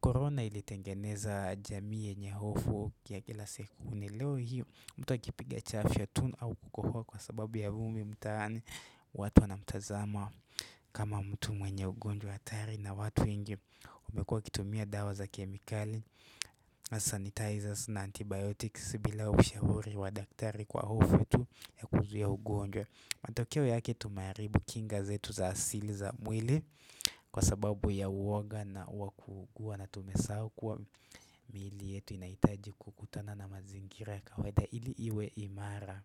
Korona ili tengeneza jamii yenye hofu ya kila siku ni leo hii mtu akipiga chafya tu au kukohoa kwa sababu ya vumbi mtani watu wanamtazama kama mtu mwenye ugonjwa hatari na watu ingi umekua kitumia dawa za kemikali, sanitizers na antibiotics bila ushahuri wa daktari kwa hofu tu ya kuzui ugonjwa matokeo yake tumaribu kingazetu za asili za mwili kwa sababu ya uoga na wakugua na tumesau kwa mili yetu na itaji kukutana na mazingira ya kaweda ili iwe imara.